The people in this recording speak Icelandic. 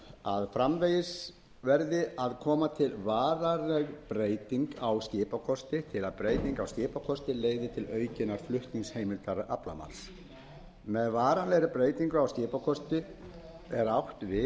að framvegis verði að koma til varanleg breyting á skipakosti til að breyting á skipakosti leiði til aukinnar flutningsheimildar aflamarks með varanlegri breytingu á skipakosti er átt við þau